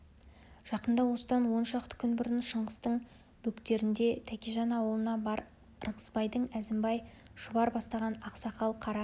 жақында осыдан он шақты күн бұрын шыңғыстың бөктерінде тәкежан аулына бар ырғызбайдың әзімбай шұбар бастаған ақ сақал қара